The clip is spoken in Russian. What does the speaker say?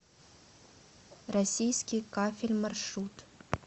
российский кафель маршрут